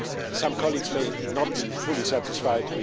Some colleagues may not be fully satisfied.